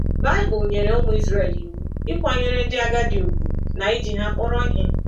Baịbụl nyere ụmụ Israel iwu ịkwanyere ndị agadi ùgwù na iji ha akpọrọ ihe.